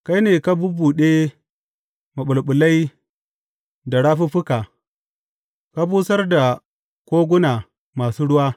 Kai ne ka bubbuɗe maɓulɓulai da rafuffuka; ka busar da koguna masu ruwa.